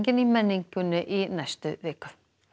í menningunni í næstu viku